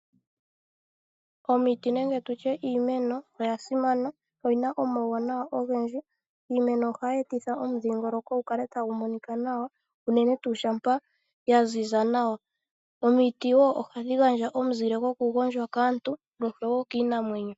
Omiti nenge tutye iimeno oya simana, oyina omauwanawa ogendji. Iimeno ohayi etitha omudhingoloko gu kale tagu monika nawa, unene tuu shampa ya ziza nawa. Omiti wo ohadhi gandja omuzile goku gondjwa kaantu noshowo kiinamwenyo.